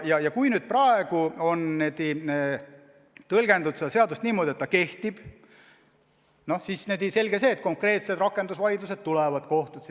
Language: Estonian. Ja kui praegu on tõlgendatud seda seadust niimoodi, et ta kehtib, siis on selge, et konkreetsed rakendusvaidlused kohtus tulevad.